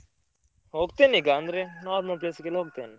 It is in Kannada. ಹೋಗ್ತೇನೆ ಈಗ ಅಂದ್ರೆ normal place ಗೆಲ್ಲ ಹೋಗ್ತೇನೆ.